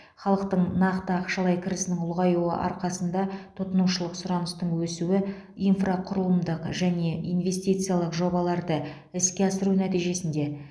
халықтың нақты ақшалай кірісінің ұлғаюы арқасында тұтынушылық сұраныстың өсуі инфрақұрылымдық және инвестициялық жобаларды іске асыру нәтижесінде